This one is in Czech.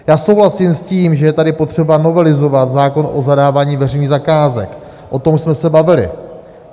Já souhlasím s tím, že je tady potřeba novelizovat zákon o zadávání veřejných zakázek, o tom jsme se bavili.